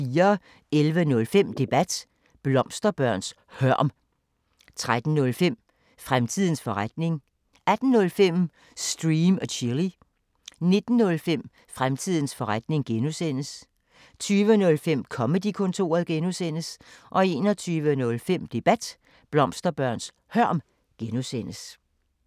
11:05: Debat: Blomsterbørns hørm 13:05: Fremtidens forretning 18:05: Stream & Chill 19:05: Fremtidens forretning (G) 20:05: Comedy-kontoret (G) 21:05: Debat: Blomsterbørns hørm (G)